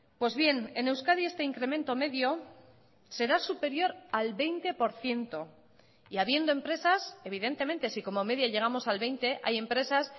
pues bien en euskadi este incremento medio será superior al veinte por ciento y habiendo empresas evidentemente si como media llegamos al veinte hay empresas